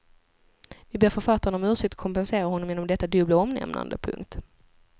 Vi ber författaren om ursäkt och kompenserar honom genom detta dubbla omnämnande. punkt